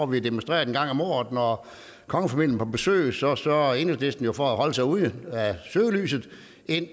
vi demonstreret en gang om året når kongefamilien er på besøg så sørger enhedslisten jo for at holde sig ude af søgelyset